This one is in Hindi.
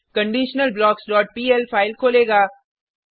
में conditionalblocksपीएल फाइल खोलेगा